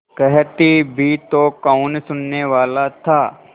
कहती भी तो कौन सुनने वाला था